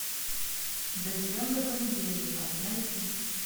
доживем до понедельника найти